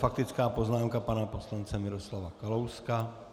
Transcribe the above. Faktická poznámka pana poslance Miroslava Kalouska.